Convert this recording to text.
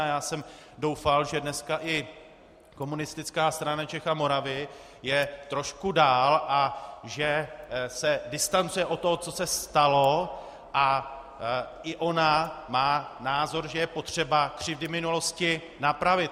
A já jsem doufal, že dneska i Komunistická strana Čech a Moravy je trošku dál a že se distancuje od toho, co se stalo, a i ona má názor, že je potřeba křivdy minulosti napravit.